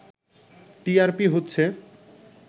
TRP হচ্ছে